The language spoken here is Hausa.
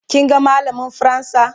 kin ga mallamin fransa?